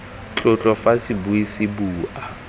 tlotlo fa sebui se bua